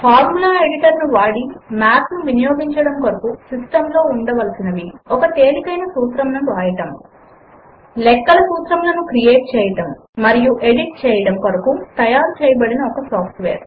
formula editor ను వాడి math ను వినియోగించడము కొరకు సిస్టమ్ లో ఉండవలసినవి ఒక తేలికైన సూత్రమును వ్రాయడము లెక్కల సూత్రములను క్రియేట్ చేయడము మరియు ఎడిట్ చేయడముల కొరకు తయారు చేయబడిన ఒక సాఫ్ట్ వేర్